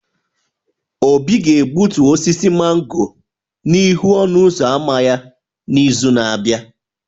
Obi ga-egbutu osisi mango n'ihu ọnụ ụzọ ámá ya n'izu na-abịa